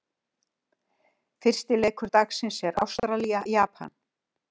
Fyrsti leikur dagsins er Ástralía- Japan.